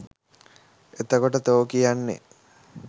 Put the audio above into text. එතකොට තෝ කියන්නේ